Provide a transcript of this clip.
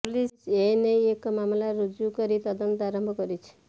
police ଏନେଇ ଏକ ମାମଲା ରୁଜୁ କରି ତଦନ୍ତ ଆରମ୍ଭ କରିଛି